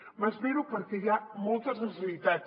m’esvero perquè hi ha moltes necessitats